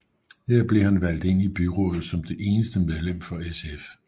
Her blev han valgt ind i byrådet som det eneste medlem for SF